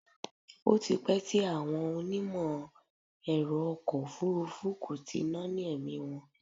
Ó ti pẹ́ tí àwọn onímọ̀ ẹ̀rọ ọkọ̀ òfúrúfú kò ti náání ẹ̀mí wọn.